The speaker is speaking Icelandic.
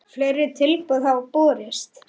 Fleiri tilboð hafa borist.